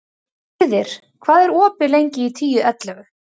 Gyrðir, hvað er opið lengi í Tíu ellefu?